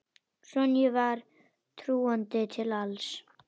Sonju var trúandi til alls.